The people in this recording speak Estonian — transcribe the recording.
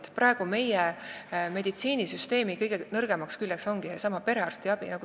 Meie praeguse meditsiinisüsteemi kõige nõrgem külg ongi seesama perearstiabi.